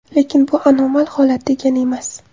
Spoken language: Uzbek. Lekin bu anomal holat degani emas.